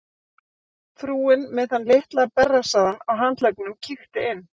Frúin með þann litla berrassaðan á handleggnum kíkti inn.